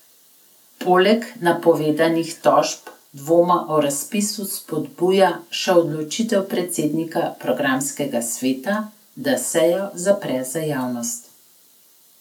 Poleg napovedanih tožb dvome o razpisu spodbuja še odločitev predsednika programskega sveta, da sejo zapre za javnost.